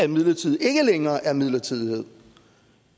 midlertidighed ikke længere er midlertidighed